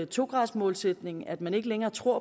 to graders målsætningen at man ikke længere tror